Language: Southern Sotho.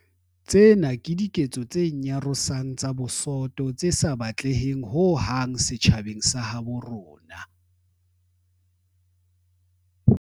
Tsena ke diketso tse nyarosang tsa bosoto tse sa batleheng ho hang setjhabeng sa habo rona.